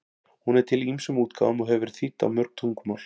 Hún er til í ýmsum útgáfum og hefur verið þýdd á mörg tungumál.